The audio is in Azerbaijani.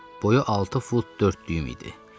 Boyu altı fut dörd düym idi.